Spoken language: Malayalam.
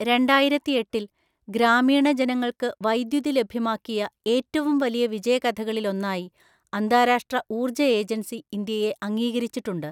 രണ്ടായിരത്തിഎട്ടില്‍ ഗ്രാമീണ ജനങ്ങള്‍ക്ക് വൈദ്യുതി ലഭ്യമാക്കിയ ഏറ്റവും വലിയ വിജയകഥകളില്‍ ഒന്നായി അന്താരാഷ്ട്ര ഊർജ്ജ ഏജന്‍സി ഇന്ത്യയെ അംഗീകരിച്ചിട്ടുണ്ട്.